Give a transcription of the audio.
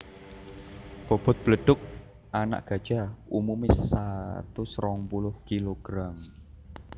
Bobot bledug anak gajah umumé satus rong puluh kilogram